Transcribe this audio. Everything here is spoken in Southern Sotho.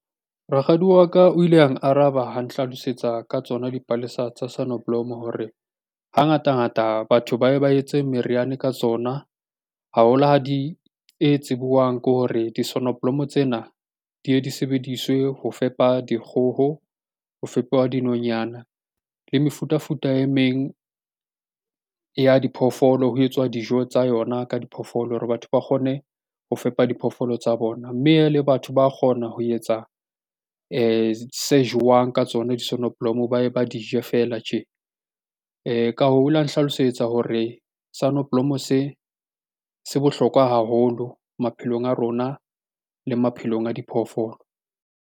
Rakgadi wa ka o ile a araba ha nhlalosetsa ka tsona dipalesa tsa sonneblom hore hangatangata batho bao ba etse meriana ka tsona haholo ha di e tsibuwang ke hore di sonoblomo tsena di ye di sebediswe ho fepa dikgoho, ho fepuwa dinonyana le mefutafuta e meng ya diphoofolo ho etswa dijo tsa yona ka diphoofolo hore batho ba kgone ho fepa diphoofolo tsa bona, mme le batho ba kgona ho etsa se jowang ka tsona di sonoblomo ba e ba dije fela tje. Ka hoo, la nhlalosetsa hore sonoblomo se se bohlokwa haholo maphelong a rona le maphelong a diphoofolo.